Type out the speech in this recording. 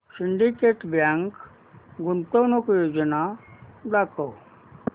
Syndicate bank गुंतवणूक योजना दाखव